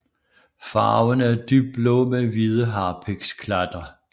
Farven er dybblå med hvide harpiksklatter